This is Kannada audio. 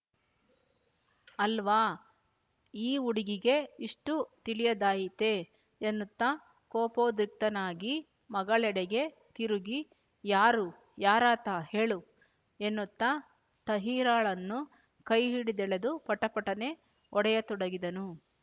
ಅಲ್ವಾ ಈ ಹುಡುಗಿಗೆ ಇಷ್ಟೂ ತಿಳಿಯದಾಯಿತೇ ಎನ್ನುತ್ತಾ ಕೋಪೋದ್ರಿಕ್ತನಾಗಿ ಮಗಳೆಡೆಗೆ ತಿರುಗಿ ಯಾರು ಯಾರಾತ ಹೇಳು ಎನ್ನುತ್ತಾ ತಹಿರಾಳನ್ನು ಕೈ ಹಿಡಿದೆಳೆದು ಪಟಪಟನೆ ಹೊಡೆಯ ತೊಡಗಿದನು